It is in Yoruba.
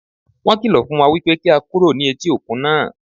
Wọ́n kìlọ̀ fún wa wípé kí á kúrò ní etí òkun náà.